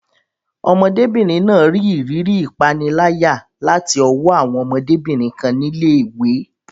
Ọmọdébìnrin náà rí ìrírí ìpániláyà láti ọwọ́ àwọn ọmọdébìnrin kan ní ilé ìwé.